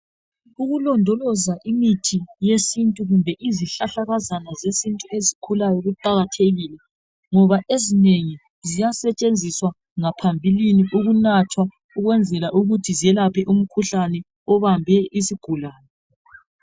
Ukulondoloza imithi yesintu kumbe izihlahlakazana zesintu ezikhulayo kuqakathekile ngoba ezinye ziyasetshenziswa ngaphambilini ukunathwa ukwenzela ukuthi zelaphe umkhuhlane obambe isigulane.